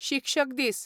शिक्षक दीस